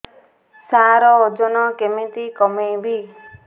ସାର ଓଜନ କେମିତି କମେଇବି